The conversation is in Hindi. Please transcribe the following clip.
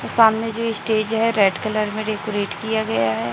सामने जो स्टेज है रेड कलर में डेकोरेट किया गया है।